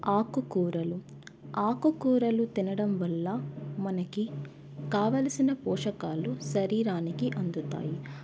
ఆకుకూరలు ఆకుకూరలు తినడం వల్ల మనకి కావాల్సిన పోషకాలు శరీరానికి అందుతాయి.